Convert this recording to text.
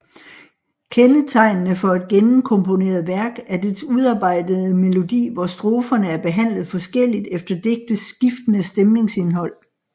Kendetegnende for et gennemkomponeret værk er dets udarbejdede melodi hvor stroferne er behandlet forskelligt efter digtets skiftende stemningsindhold